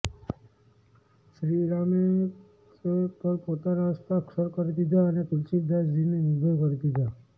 શ્રીરામે તે પર પોતાના હસ્તાક્ષર કરી દીધા અને તુલસીદાસજીને નિર્ભય કરી દીધા